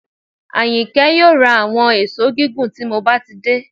Àyìnkẹ́ yóò ra àwọn èṣó gígùn tí mo bá ti dé